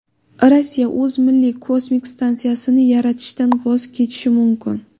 Rossiya o‘z milliy kosmik stansiyasini yaratishdan voz kechishi mumkin.